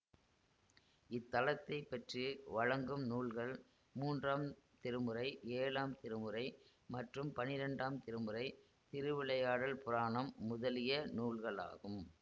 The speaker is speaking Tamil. இத்தலத்தை பற்றி வழங்கும் நூல்கள் மூன்றாம் திருமுறை ஏழாம் திருமுறை மற்றும் பன்னிரெண்டாம் திருமுறை திருவிளையாடல் புராணம் முதலிய நூல்களாகும்